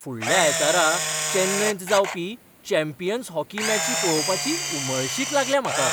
फुडल्या आयतारा चेन्नयंत जावपी चॅम्पियन्स हॉकी मॅची पळोवपाची उमळशीक लागल्या म्हाका.